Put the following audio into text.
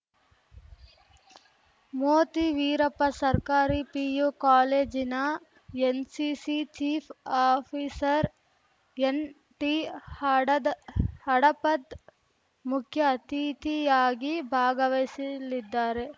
ಮೋತಿ ವೀರಪ್ಪ ಸರ್ಕಾರಿ ಪಿಯು ಕಾಲೇಜಿನ NCC chief officer ಎನ್‌ಟಿಹಡದ್ ಹಡಪದ್‌ ಮುಖ್ಯ ಅತಿಥಿಯಾಗಿ ಭಾಗವಹಿಸಲಿದ್ದಾರೆ